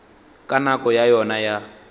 ka nako ya yona ya